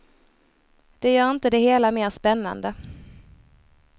Det gör inte det hela mera spännande.